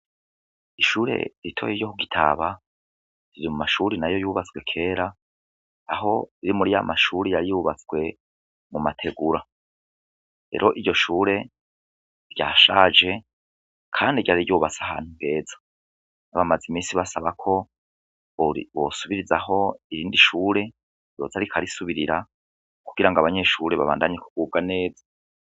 Ishure ritoya ryo mugitaba ririmumashure yubatswe kwera aho riri muri yamashure yubatswe mu mategura rero iryo shure ryashaje kandi ryari ryubatse ahantu neza bari bamaze imisi basaba ko bosubirizaho irindi shure ryoza rikagasubirira kugirango abanyeshure babandanye biga neza